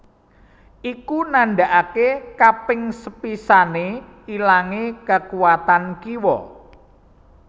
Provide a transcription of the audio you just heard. Iku nandakaké kaping sepisané ilangé kakuwatan kiwa